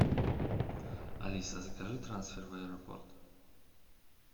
алиса закажи трансфер в аэропорт